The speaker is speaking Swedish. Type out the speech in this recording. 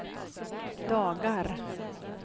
dagar